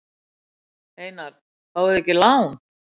Einar: Fáið þið ekki lán?